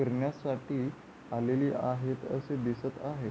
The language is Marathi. फिरण्यासाठी आलेली आहेत असे दिसत आहेत.